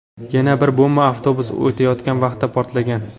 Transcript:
Yana bir bomba avtobus o‘tayotgan vaqtda portlagan.